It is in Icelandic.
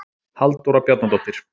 Halldóra Bjarnadóttir.